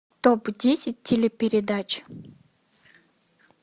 топ десять телепередач